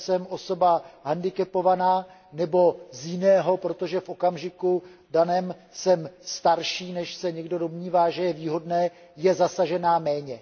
že jsem osoba hendikepovaná, nebo z jiného, protože v okamžiku daném jsem starší, než se někdo domnívá, že je výhodné, je zasažená méně.